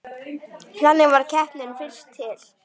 Þannig varð keppnin fyrst til.